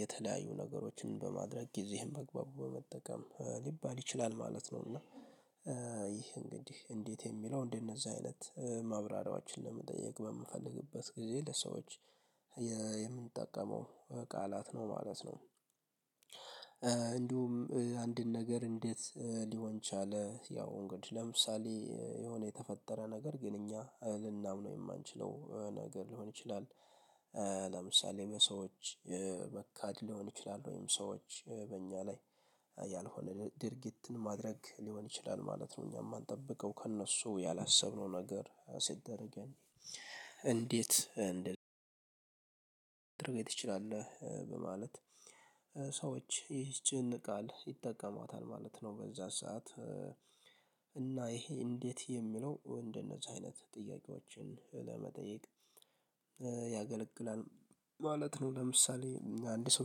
የተለያዩ ነገሮችን በማድረግ ጊዜህን በአግባቡ በመጠቀም ሊባል ይችላል ማለት ነው። እና ይህ እንግዲህ እንዴት የሚለው እንደነዚህ አይነት ማብራሪያዎችን ለመጠየቅ በምፈልግበት ጊዜ ለሰዎች የምንጠቀመው ቃላት ነው ማለት ነው። እንዲሁም አንድን ነገር እንዴት ሊሆን ቻለ ያው እንግዲህ ለምሳሌ የሆነ የተፈጠረ ነገር ግን እኛ ልናምነው ነው የማንችለው ነገር ሊሆን ይችላል። ለምሳሌ ሰዎች መካድ ሊሆን ይችላል ወይም ሰዎች በእኛ ላይ ያልሆነ ድርጊትን ማድረግ ሊሆን ይችላል ማለት ነው። እኛ የማንጠብቀው ከእነሱ ያላሰብነው ነገር ሲደረግ እንዴት ትችላለህ በማለት ሰዎች ይህችን ቃል ይጠቀማታል ማለት ነው። በዛ ሰዓት እና ይሄ እንዴት የሚለው እንደነዚህ አይነት ጥያቄዎችን ለመጠየቅ ያገለግላል። ማለት ነው ለምሳሌ አንድ ሰው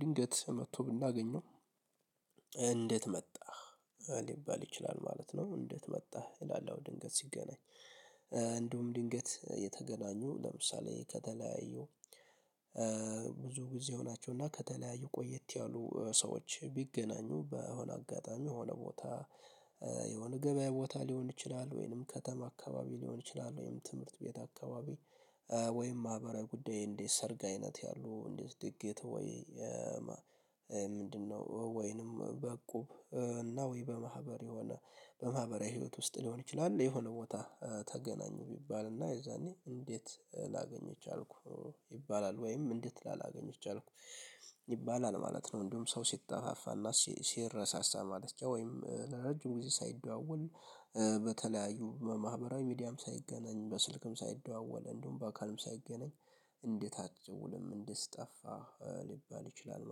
ድንገት መጥቶ ብናገኘው እንዴት መጣህ ሊባል ይችላል ማለት ነው። እንዴት መጣህ ይላል አዎ ድንገት ሲገናኝ እንደውም ድንገት የተገናኙ ለምሳሌ ከተለያዩ ብዙ ጊዜ ሆናቸው እና ከተለያዩ ቆየት ያሉ ሰዎች ቢገናኙ በሆነ አጋጣሚ የሆነ ቦታ የሆነ ገበያ ቦታ ሊሆን ይችላል ወይንም ከተማ አካባቢ ሊሆን ይችላል። ወይንም ትምህርት ቤት አካባቢ ወይም ማህበራዊ ጉዳይ እንዴት ሰርግ አይነት ያሉ እንዴት ድግት ወይ ምንድነው ወይንም በቁብ እና ወይ በማህበር የሆነ በማህበራዊ ህይወት ውስጥ ሊሆን ይችላል። የሆነ ቦታ ተገናኙ ቢባልና የዛኔ እንዴት ላገኘህ ቻልኩ ይባላል ወይም እንዴት ላላገኝህ ቻልኩ ይባላል ማለት ነው። እንደውም ሰው ሲጠፋፋና ሲረሳሳ ማለት ነው ወይም ለረጅም ጊዜ ሳይደዋወል በተለያዩ በማህበራዊ ሚዲያም ሳይገናኝ በስልክም ሳይደዋወል እንደውም በአካልም ሳይገናኝ እንዴት አትደውልም እንዴት ጠፋህ ሊባል ይችላል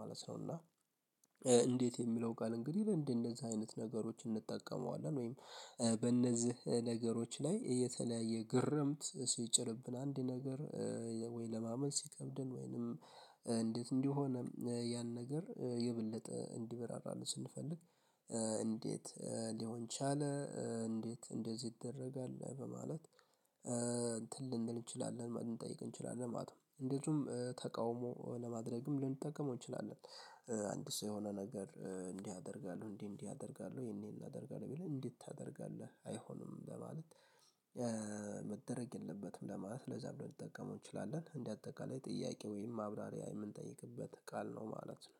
ማለት ነው። እና እንዴት የሚለው ቃል እንግዲህ እንዴት እንደዚህ አይነት ነገሮች እንጠቀመዋለን ወይም በእነዚህ ነገሮች ላይ የተለያየ ግርምት ሲጭርብን አንድ ነገር ወይ ለማመን ሲከብድን ወይንም እንዴት እንዲህ ሆነ ያን ነገር የበለጠ እንዲበራራሉ ስንፈልግ። ሊሆን ቻለ እንዴት እንደዚህ ይደረጋል በማለት እንትን እንችላለን ማለት እንጠይቅ እንችላለን ማለት ነው። እንዴትም ተቃውሞ ለማድረግም ልንጠቀመው እንችላለን። አንድ ሰው የሆነ ነገር እንዲህ ያደርጋሉ እንዲህ እንዲህ ያደርጋሉ ይሄን ያደርጋሉ ቢል እንዴት ታደርጋለህ አይሆንም ለማለት? መደረግ የለበትም ለማለት ለዛ ብለን ልንጠቀመው እንችላለን እንደ አጠቃላይ ጥያቄ ወይም ማብራሪያ የምንጠይቅበት ቃል ነው ማለት ነው